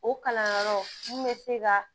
O kalanyɔrɔ mun bɛ se ka